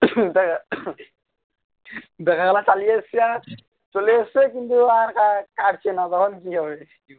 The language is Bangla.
দেখা গেলো চালিয়ে এসেছে আজ চলে এসছে কিন্তু আর আর কাটছে না তখন কি করবে